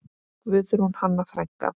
Guðrún Hanna frænka.